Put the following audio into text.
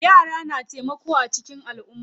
Yara na taimako a cikin alumma.